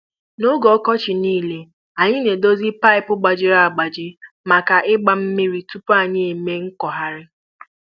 Na oge ọkọchị nile, anyị na-edozi paịpụ gbajiri agbaji maka ịgba mmiri tupu anyị eme nkọgharị.